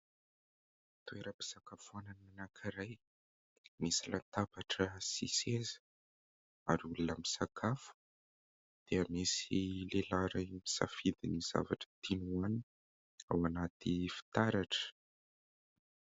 Toeram-pisakafoanana anankiray misy latabatra sy seza ary olona misakafo, dia misy lehilahy iray misafidy ny zavatra tiany hoanina ao anaty fitaratra.